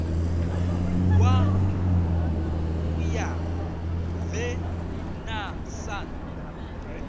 wa u ya venḓa sun